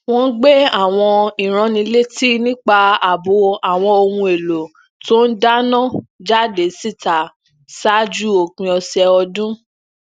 wón gbé àwọn ìránnilétí nípa ààbò àwọn ohun èlò tó ń dáná jáde síta ṣáájú òpin ọsẹ ọdún